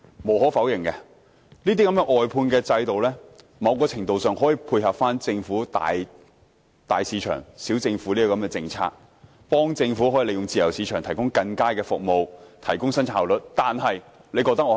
無可否認，外判制度某程度上可以配合政府"大市場，小政府"的政策，幫助政府利用自由市場提供更佳的服務，提高生產效率。